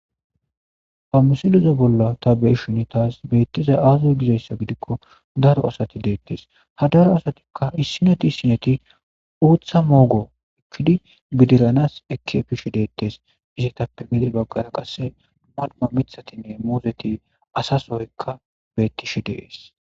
Ha misileza bolla ta beyishin taas beetizay aaze gizaysa gidiko,daro asati deetees. Ha daro asatika issineti issineti uutha moogo ekkidi bidiranas ekki efishe deetees. Izetappe gede baggan qasse mir ththatinne muuzet,asa soyka dees.